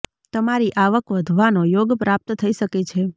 તમારી આવક વધવાનો યોગ પ્રાપ્ત થઇ શકે છે